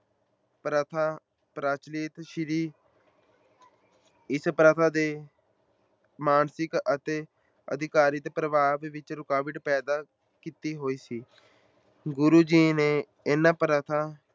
ਪ੍ਰਥਾ ਪ੍ਰਚਲਤ ਸੀ ਇਸ ਪ੍ਰਥਾ ਦੇ ਮਾਨਸਿਕ ਅਤੇ ਅਧਿਕਾਰਤ ਵਿੱਚ ਰੁਕਾਵਟ ਪੈਦਾ ਕੀਤੀ ਹੋਈ ਸੀ, ਗੁਰੂ ਜੀ ਨੇ ਇਹਨਾਂ ਪ੍ਰਥਾ